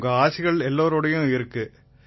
உங்க ஆசிகள் எல்லாரோடயும் இருக்கு